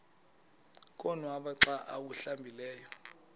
konwaba xa awuhlambileyo